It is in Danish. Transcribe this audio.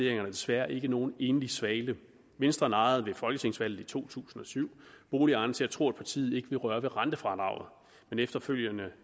er desværre ikke nogen enlig svale venstre narrede ved folketingsvalget i to tusind og syv boligejerne til at tro at partiet ikke ville røre ved rentefradraget men efterfølgende